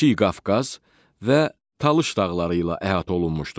Kiçik Qafqaz və Talış dağları ilə əhatə olunmuşdur.